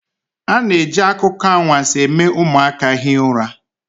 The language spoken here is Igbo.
A na-eji akụkọ anwansi eme ụmụaka hie ụra